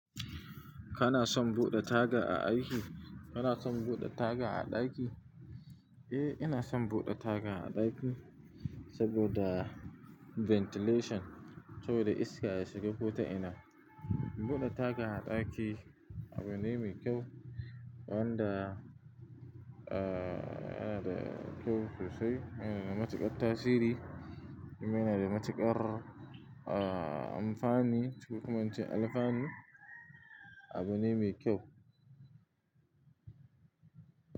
Kana son buɗe taga a aiki? Kana son buɗe taga a ɗaki? Eh, ina son buɗe taga a ɗaki saboda ventilation, saboda iska ya shiga ko ta ina. Buɗe taga a ɗaki abu ne mai kyau wanda, ah, yana da kyau sosai. Yana da matuƙar tasiri. Yana da matuƙar, ah, amfani. Ko kuma ince alfanu abu ne mai kyau.